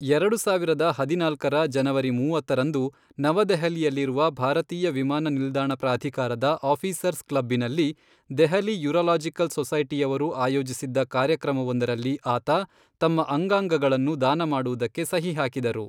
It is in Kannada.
ಎರಡು ಸಾವಿರದ ಹದಿನಾಲ್ಕರ ಜನವರಿ ಮೂವತ್ತರಂದು, ನವದೆಹಲಿಯಲ್ಲಿರುವ ಭಾರತೀಯ ವಿಮಾನ ನಿಲ್ದಾಣ ಪ್ರಾಧಿಕಾರದ ಆಫೀಸರ್ಸ್ ಕ್ಲಬ್ಬಿನಲ್ಲಿ, ದೆಹಲಿ ಯುರಾಲಜಿಕಲ್ ಸೊಸೈಟಿಯವರು ಆಯೋಜಿಸಿದ್ದ ಕಾರ್ಯಕ್ರಮವೊಂದರಲ್ಲಿ ಆತ ತಮ್ಮ ಅಂಗಾಂಗಗಳನ್ನು ದಾನ ಮಾಡುವುದಕ್ಕೆ ಸಹಿ ಹಾಕಿದರು.